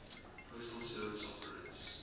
postal service operates